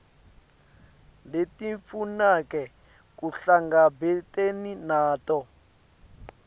letimfuneko kuhlangabetene nato